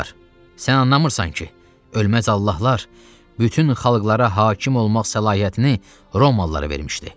Barbar, sən anlamırsan ki, ölməz Allahlar bütün xalqlara hakim olmaq səlahiyyətini Romalılara vermişdi.